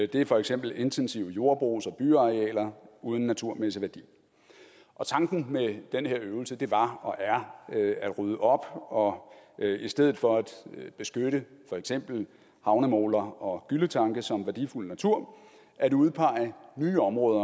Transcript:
det er for eksempel intensiv jordbrugs og byarealer uden naturmæssig værdi tanken med den her øvelse var og er at rydde op og i stedet for at beskytte for eksempel havnemoler og gylletanke som værdifuld natur at udpege nye områder